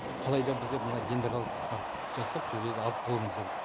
қалайда біздер мына дендролык парк жасап сол жерді алып қалуымыз керек